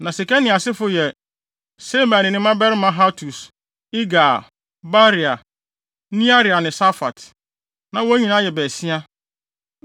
Na Sekania asefo yɛ Semaia ne ne mmabarima Hatus, Igal, Baria, Nearia ne Safat. Na wɔn nyinaa yɛ baasia.